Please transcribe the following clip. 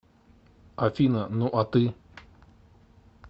афина ну а ты